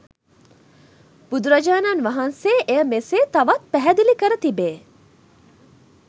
බුදුරජාණන් වහන්සේ එය මෙසේ තවත් පැහැදිලි කර තිබේ.